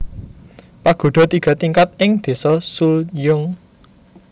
Pagoda tiga tingkat ing desa Suljeong